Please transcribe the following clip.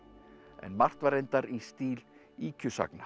en margt var reyndar í stíl